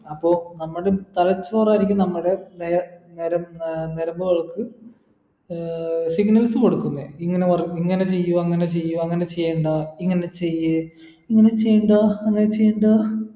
അപ്പോ നമ്മള് തലച്ചോറായിരിക്കും നമ്മടെ നെ നര ഏർ നരമ്പുകൾക്ക് ഏർ signals കൊടുക്കുന്നെ ഇങ്ങനെ പറ ഇങ്ങനെ ചെയ്യുക അങ്ങനെ ചെയ്യുവ അങ്ങനെ ചെയ്യണ്ട ഇങ്ങനെ ചെയ്യ് ഇങ്ങന ചെയ്യണ്ട അങ്ങനെ ചെയ്യണ്ട